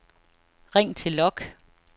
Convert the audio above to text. ring til log